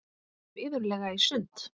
Við fórum iðulega í sund.